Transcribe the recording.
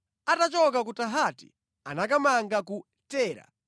Atachoka ku Tahati anakamanga ku Tera.